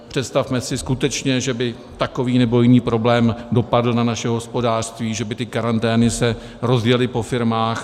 Představme si skutečně, že by takový nebo jiný problém dopadl na naše hospodářství, že by ty karantény se rozjely po firmách.